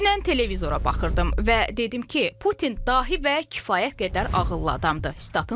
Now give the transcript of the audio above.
Dünən televizora baxırdım və dedim ki, Putin dahi və kifayət qədər ağıllı adamdır.